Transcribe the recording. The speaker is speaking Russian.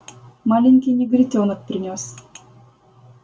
маленький негритёнок принёс